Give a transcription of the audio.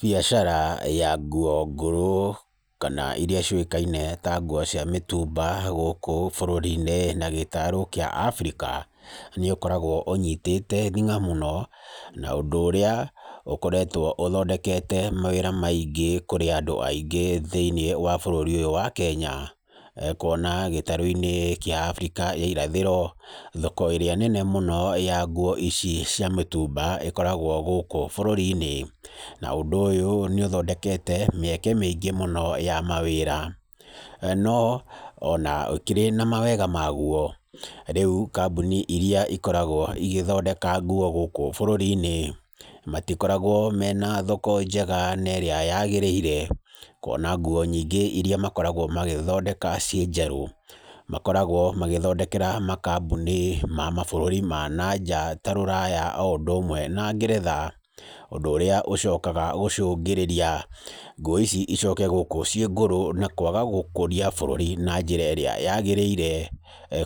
Biacara ya nguo ngũrũ kana iria ciũkaine ta nguo cia mĩtumba gũkũ bũrũri-inĩ na gĩtarũ kĩa Africa nĩũkoragwo ũnyitĩte thing'a mũno, na ũndũ ũrĩa ũkoretwo ũthondekete mawĩra maingĩ kũrĩ andũ aingĩ thĩiniĩ wa bũrũri ũyũ wa Kenya, kwona gĩtarũ-inĩ kĩa Africa ya irathĩro, thoko ĩrĩa nene mũno ya nguo ici cia mĩtumba ĩkoragwo gũkũ bũrũri-inĩ, na ũndũ ũyũ nĩũthondekete mĩeke mĩingĩ mũno ya mawĩra. No ona ĩkĩrĩ na mawega magwo, rĩu kambuni ĩrĩa ĩkoragwo ĩgĩthondeka nguo gũkũ bũrũri-inĩ matikoragwo mena thoko njega nerĩa yagĩrĩire, kwona nguo nyingĩ iria makoragwo magĩthondeka ciĩ njerũ makoragwo magĩthondekera makambuni ma mabũrũri ma nanja ta rũraya oũndũ ũmwe na ngeretha, ũndũ ũrĩa ũcokaga gũcũngĩrĩria nguo ici icoke gũkũ ciĩ ngũrũ na kwaga gũkũria bũrũri na njĩra ĩrĩa yagĩrĩire,